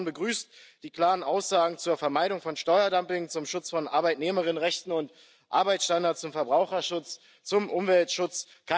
Meine Fraktion begrüßt die klaren Aussagen zur Vermeidung von Steuerdumping, zum Schutz von Arbeitnehmerinnenrechten und Arbeitsstandards, zum Verbraucherschutz, zum Umweltschutz.